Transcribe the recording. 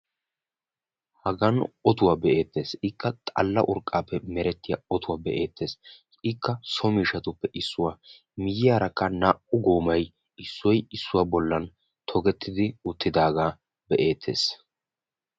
Hagan ottuwaa be'eettees. ikka xalla urqqaappe merettiyaa ottuwaa be'eettees. ikka so miishshatuppe issuwaa ikka miyiyaara naa"u goomay issoy issuwaa bollan togettidi uttidagaa be"ettees.